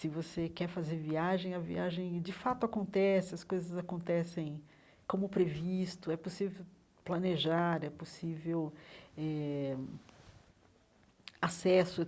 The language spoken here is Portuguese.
Se você quer fazer viagem, a viagem de fato acontece, as coisas acontecem como previsto, é possível planejar, é possível eh acesso.